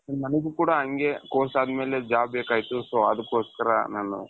ನನಿಗು ಕೂಡ ಅಂಗೆ course ಅದಮೇಲೆ job ಬೇಕಾಗಿತ್ತು so ಅದುಕ್ಕೋಸ್ಕರ ನಾನು,